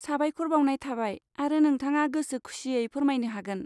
साबायखर बावनाय थाबाय आरो नोंथाङा गोसो खुसियो फोरमायनो हागोन।